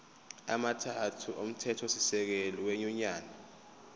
amathathu omthethosisekelo wenyunyane